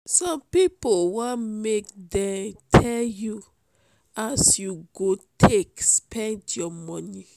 some pipo wan make dem tell you as you go take spend your moni.